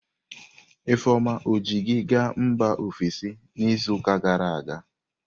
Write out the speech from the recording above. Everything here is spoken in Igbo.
Ifeoma ji gị gaa mba ofesi n'izuụka gara aga?